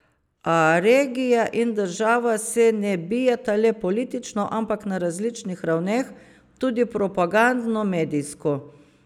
A regija in država se ne bijeta le politično, ampak na različnih ravneh, tudi propagandno, medijsko.